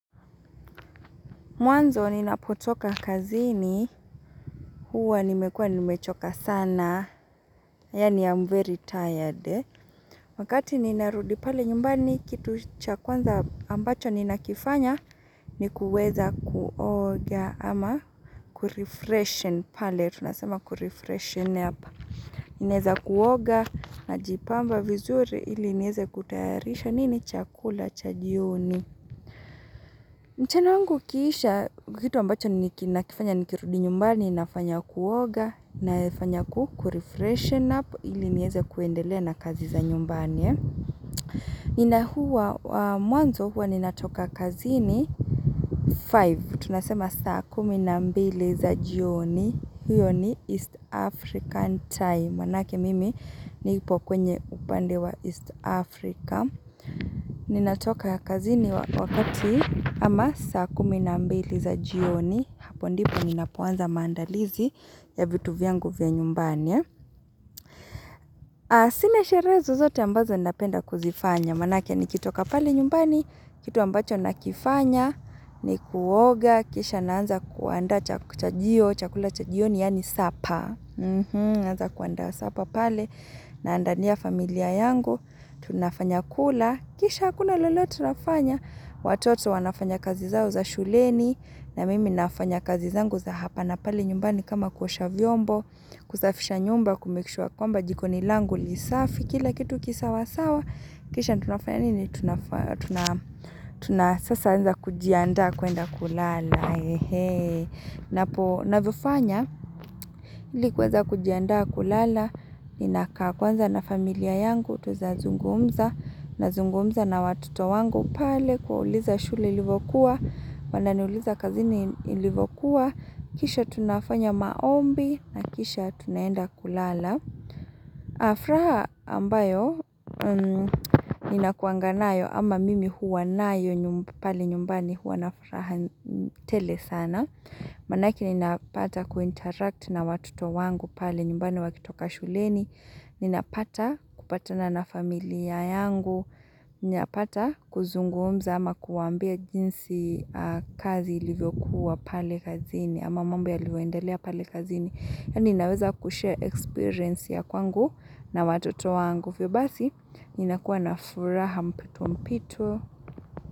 Mwanzo ninapotoka kazini, huwa nimekua nimechoka sana, yaani I'm very tired. Wakati ninarudipale, nyumbani kitu chakwanza ambacho ninakifanya, ni kuweza kuoga ama kurefreshen pale, tunasema kurefreshen up. Ineza kuoga, na jipamba vizuri ili nieze kutayarisha, nini chakula chajioni. Mchana wangu ukiisha kitu ambacho ni nakifanya nikirudi nyumbani inafanya kuoga na efanya kurefreshen up ili nieze kuendele na kazi za nyumbani ina huwa mwanzo huwa ni natoka kazi ni 5 tunasema saa kumi na mbili za jioni huyo ni East African time maanake mimi ni ipo kwenye upande wa East Africa Ninatoka kazini wakati ama saa kuminambeli za jioni Hapo ndipo ninapuanza maandalizi ya vitu vyangu vya nyumbani Sina shere zo zote ambazo ninapenda kuzifanya Maanake nikitoka pale nyumbani, kitu ambacho nakifanya ni kuoga, kisha naanza kuanda chakujio, chakula chakujio ni yani sapa anza kuanda sapa pale na andania familia yangu tunafanya kula Kisha kuna lolote nafanya Watoto wanafanya kazi zao za shuleni na mimi nafanya kazi zangu za hapa Napale nyumbani kama kuosha vyombo kusafisha nyumba kumake sure kwamba Jiko ni langu lisafi Kila kitu kisawa sawa Kisha tunafanya nini Tunasasa anza kujianda kuenda kulala He he Napo navifanya Likuweza kujianda kulala Inakakwanza na familia yangu Kutoza zungumza na zungumza na watoto wangu pale kwa uliza shule ilivokuwa. Wanani uliza kazini ilivyokuwa. Kisha tunafanya maombi na kisha tunaenda kulala. Afraha ambayo nina kuanganayo ama mimi huwa nayo pale nyumbani huwa nafuraha tele sana. Manake nina pata kuinteract na watoto wangu pale nyumbani wakitoka shuleni. Ninapata kupatana na familia yangu Ninapata kuzungumza ama kuwambia jinsi kazi ilivyo kuwa pale kazini Ama mambo ilivyo endelea pale kazini Yaani inaweza kushare experience ya kwangu na watoto wangu Vyo basi, inakuwa na furaha mpito mpito.